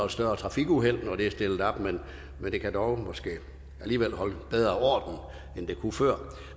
større trafikuheld når de er stillet op men det kan dog måske alligevel holde bedre end det kunne før